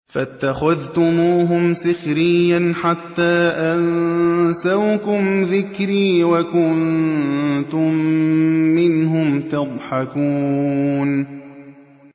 فَاتَّخَذْتُمُوهُمْ سِخْرِيًّا حَتَّىٰ أَنسَوْكُمْ ذِكْرِي وَكُنتُم مِّنْهُمْ تَضْحَكُونَ